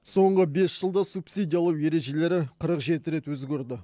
соңғы бес жылда субсидиялау ережелері қырық жеті рет өзгерді